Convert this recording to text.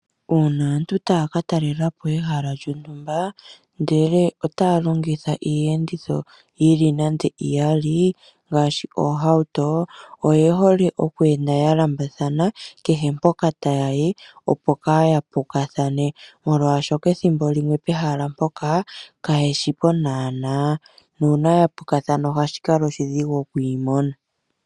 Uuna aantu taya ka talelapo ehala lyontumba ndele otaya longitha iiyenditho yili nande iyali ngaashii oohauto oye hole okweenda ya lambathana kehe mpoka tayayi, opo kaya pukathane. Molwaashoka ethimbo limwe pehala mpoka kayeshipo naana nuuna yapukathana ohashi kala oshidhigu okwiimona.